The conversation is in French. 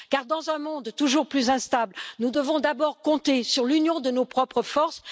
Car dans un monde toujours plus instable, nous devons d'abord compter sur l'union de nos propres forces.